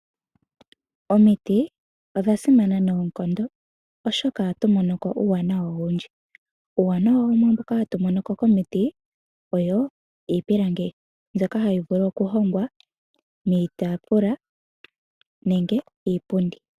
Omiti, odha simana noonkondo, oshoka oha tumonoko uuwanawa owundji. Uuwanawa mumwe mboka hatu monoko komiti owo iipilangi mboka ha yi vulu oku hongwa iitaafula nenge iipundi.